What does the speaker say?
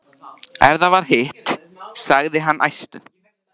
Ef það var hitt, sagði hann æstur: